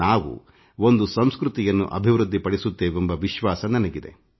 ನಾವು ಒಂದು ಸಂಸ್ಕೃತಿಯನ್ನು ರೂಪಿಸುತ್ತೇವೆಂಬ ವಿಶ್ವಾಸ ನನಗಿದೆ